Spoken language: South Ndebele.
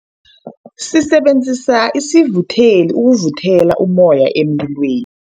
Sisebenzise isivutheli ukuvuthela ummoya emlilweni.